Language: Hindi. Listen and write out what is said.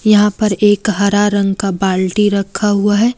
यहां पर एक हरा रंग का बाल्टी रखा हुआ है।